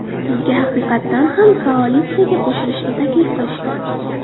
Bizga haqiqatdan ham koalitsiyaga qo‘shilishni taklif qilishdi.